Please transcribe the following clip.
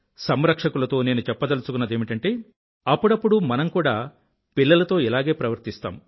సంరక్షకులతో నేను చెప్పదలుచుకున్నదేమిటంటే అప్పుడప్పుడు మనం కూడా పిల్లలతో ఇలాగే ప్రవర్తిస్తాం